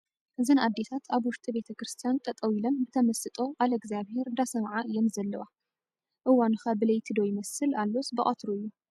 እዘን ኣዴታት ኣብ ውሽጢ ቤተ ክርስትያን ጠጠው ኢለን ብተመስጦ ቓለ እግዚኣብሄር እንዳሰምዓ እየን ዘለዋ ። እዋኑ ኸ ብለይቲ ዶ ይመስል ኣሎስ ብቐትሩ እዩ ?